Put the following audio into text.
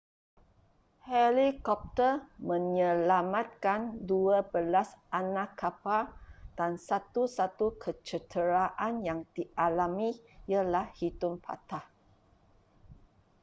helikopter menyelamatkan dua belas anak kapal dan satu-satu kecederaan yang dialami ialah hidung patah